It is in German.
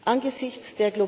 Angesichts